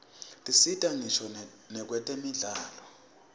tisita ngisho nakwetemidlalo